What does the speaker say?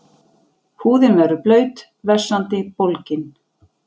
Húðin verður blaut, vessandi, bólgin.